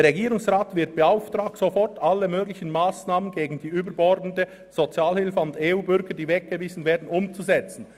«Der Regierungsrat wird beauftragt, sofort alle möglichen Massnahmen gegen die überbordende Sozialhilfe an EU-Bürger, die weggewiesen werden, umzusetzen.